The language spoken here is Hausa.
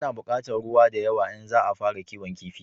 A na bukatar ruwa da yawa in za a fara kiwon kifi